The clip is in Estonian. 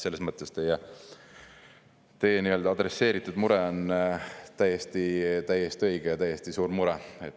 Selles mõttes teie mure on täiesti õige ja suur mure.